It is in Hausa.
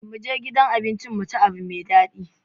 Mu je gidan abincin mu ci abun daɗi.